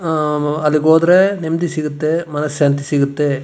ಅಹ್ ಅಲ್ಲಿಗೆ ಹೋದ್ರೆ ನೆಮ್ಮದಿ ಸಿಗುತ್ತೆ ಮನ್ ಶಾಂತಿ ಸಿಗುತ್ತೆ.